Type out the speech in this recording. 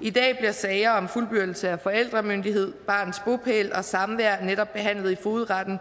i dag bliver sager om fuldbyrdelse af forældremyndighed barnets bopæl og samvær netop behandlet i fogedretten